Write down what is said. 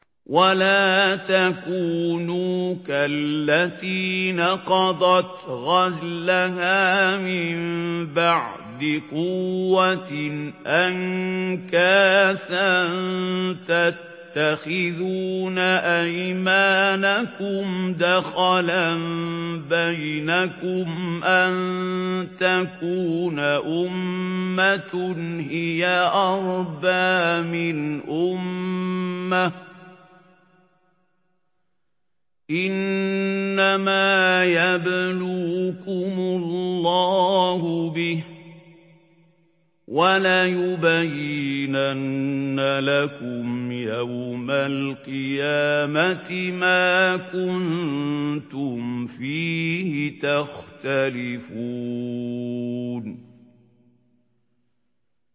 وَلَا تَكُونُوا كَالَّتِي نَقَضَتْ غَزْلَهَا مِن بَعْدِ قُوَّةٍ أَنكَاثًا تَتَّخِذُونَ أَيْمَانَكُمْ دَخَلًا بَيْنَكُمْ أَن تَكُونَ أُمَّةٌ هِيَ أَرْبَىٰ مِنْ أُمَّةٍ ۚ إِنَّمَا يَبْلُوكُمُ اللَّهُ بِهِ ۚ وَلَيُبَيِّنَنَّ لَكُمْ يَوْمَ الْقِيَامَةِ مَا كُنتُمْ فِيهِ تَخْتَلِفُونَ